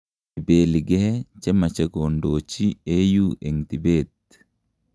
ipeligee chemache kondochi AU en tibeet